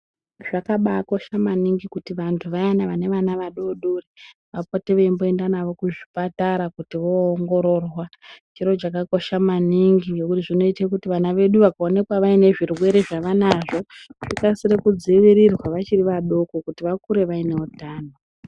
Zvakabakosha maningi kuti vantu vayana vane vana vadodori vapote veimboenda nawo kuzvipatara kuti voongororwa. Chiro chakakosha maningi ngekuti zvinoite kuti vana vedu vakaonekwa vaine zvirwere zvevanazvo zvikasire kudzivirirwa vachiri vadoko kuti vakure vaine utano.